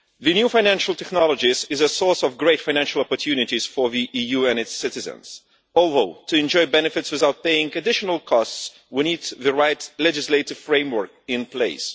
New financial technologies are a source of great financial opportunities for the EU and its citizens, although to enjoy benefits without paying additional costs we need the right legislative framework in place.